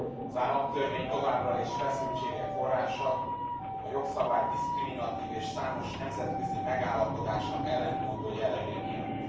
Az államtörvény továbbra is feszültségek forrása, a jogszabály diszkriminatív és számos nemzetközi megállapodásnak ellentmondó jellege miatt.